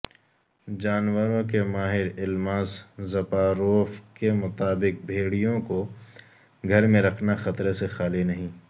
جانوروں کے ماہر الماس زپاروف کے مطابق بھیڑیوں کوگھر میں رکھنا خطرے سے خالی نہیں